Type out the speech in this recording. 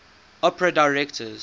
opera directors